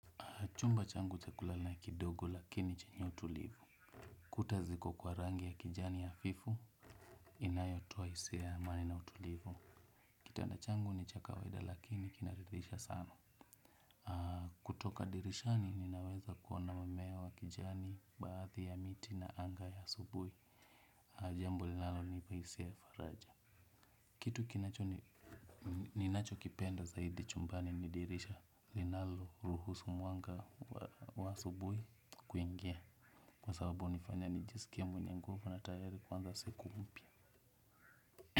Chumba changu kulala na kidogo lakini chenye utulivu. Kuta ziko kwa rangi ya kijani hafifu, inayotoa hisia amani na utulivu. Kitanda changu ni cha kawaida lakini kinaridhisha sana. Kutoka dirishani ninaweza kuona mamewa kijani, baadhi ya miti na anga ya asubui. Jambo linalonipa hisia ya faraja. Kitu kinacho ninachokipenda zaidi chumbani ni dirisha linalo ruhusu mwanga wa asubui kuingia. Kwa sababu hunifanya nijisikie mwenye nguvu na tayari kuanza siku mpya.